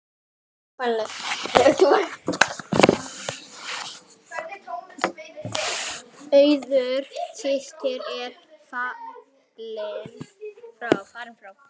Auður systir er fallin frá.